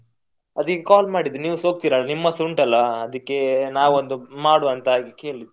ಅದೀಗ call ಮಾಡಿದ್ರು ನೀವು ಸಾ ಹೋಗ್ತಿರ ನಿಮ್ಮದ್ಸ ಉಂಟಲ್ಲಾ ಅದಿಕ್ಕೆ ನಾವೊಂದು ಮಾಡುವ ಅಂತ ಕೇಳಿದ್ದು.